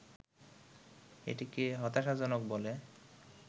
এটিকে হতাশাজনক বলে